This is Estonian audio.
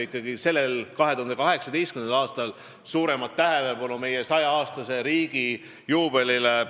Minu meelest on oluline 2018. aastal pühendada tähelepanu meie riigi 100 aasta juubelile.